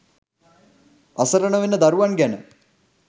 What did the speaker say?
අසරණ වෙන දරුවන් ගැන